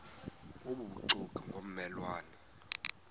obubuxoki ngomme lwane